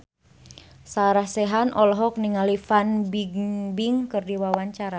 Sarah Sechan olohok ningali Fan Bingbing keur diwawancara